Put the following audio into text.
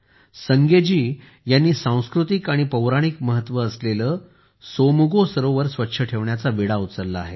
संगे जी यांनी सांस्कृतिक आणि पौराणिक महत्त्व असलेले सोमगो सरोवर स्वच्छ ठेवण्याचा विडा उचलला आहे